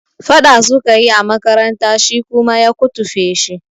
Faɗa sukayi a makaranta shi kuma ya kutufe shi